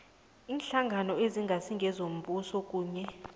iinhlangano ezingasizombuso kunye